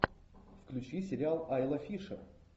включи сериал айла фишер